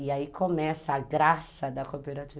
E aí começa a graça da cooperativa.